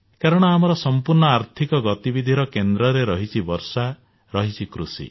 କାରଣ ଆମର ସମ୍ପୂର୍ଣ୍ଣ ଆର୍ଥିକ ଗତିବିଧିର କେନ୍ଦ୍ରରେ ରହିଛି ବର୍ଷା ରହିଛି କୃଷି